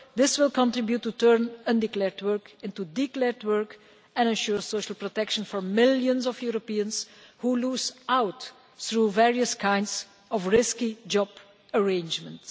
This will contribute to turning undeclared work into declared work and ensure social protection for millions of Europeans who are losing out through various kinds of risky job arrangements.